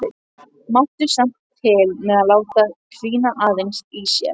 Mátti samt til með að láta hvína aðeins í sér.